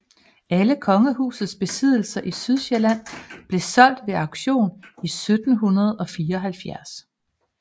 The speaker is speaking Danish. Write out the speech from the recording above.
Alle kongehusets besiddelser i Sydsjælland blev solgt ved auktion i 1774